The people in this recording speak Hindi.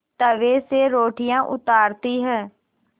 तवे से रोटियाँ उतारती हैं